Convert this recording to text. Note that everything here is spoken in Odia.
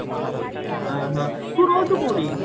ଆଉ ହଁ ତୁ ରହୁଛୁ କୋଉଠି